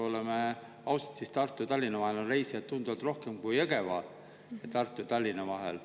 Oleme ausad, Tartu ja Tallinna vahel on reisijaid tunduvalt rohkem kui Jõgeva ja Tartu ja Tallinna vahel.